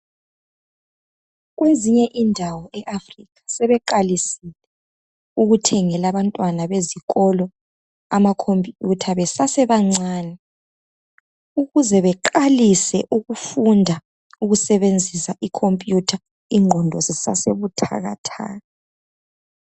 Kwezinye indawo eAfrica sebeqalisile ukuthengela abantwana bezikolo amakhompuyutha besasebancane ukuze beqalise ukufunda ukusebenzisa ikhompuyutha ingqondo zisasebuthakathaka.